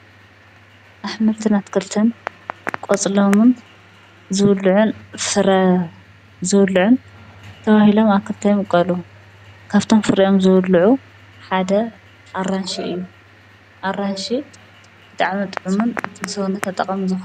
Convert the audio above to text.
አትክልትን አሕምልትን ቆፅሎም ዝብልዑን ፍረ ዝብልዑን ተባሂሎም አብ ክልተ ይምቀሉ:: ካብቶም ፍረኦም ዝብልዑ ሓደ ኣራንሺ እዩ ። ኣራንሺ ብጣዕሚ ጥዑምን ንሰዉነት ጠቃሚን።